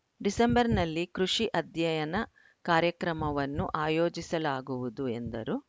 ಡಿಸೆಂಬರ್‌ನಲ್ಲಿ ಕೃಷಿ ಅಧ್ಯಯನ ಕಾರ್ಯಕ್ರಮವನ್ನು ಆಯೋಜಿಸಲಾಗುವುದು ಎಂದರು